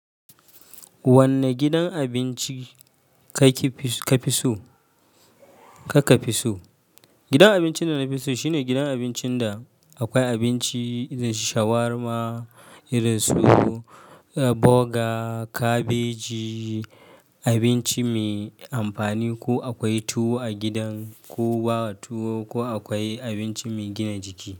Wanne gidan abinci ka fi so? Gidan abincin da na fi so, shine gidan abincin da akwai abinci irin su shawarma, boga, kabeji, abinci mai amfani ko akwai tuwo a gidan, ko akwai abinci mai gina jiki.